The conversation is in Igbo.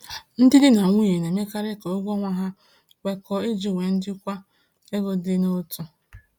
Ndị di na nwunye na-emekarị ka ụgwọ ọnwa ha kwekọọ iji nwee njikwa ego dị n’otu.